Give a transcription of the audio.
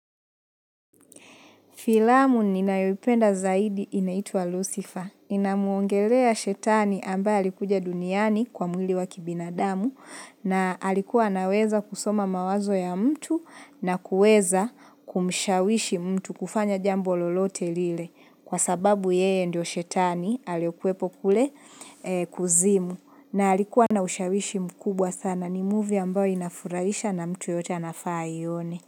Filamu ninayoipenda zaidi inaitwa Lucifer. Inamwongelea shetani ambaye alikuja duniani kwa mwili wa kibinadamu na alikuwa anaweza kusoma mawazo ya mtu na kuweza kumshawishi mtu kufanya jambo lolote lile kwa sababu yeye ndio shetani aliyekuwepo kule kuzimu na alikuwa na ushawishi mkubwa sana ni movie ambayo inafurahisha na mtu yoyote anafaa aione.